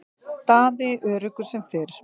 Daði öruggur sem fyrr.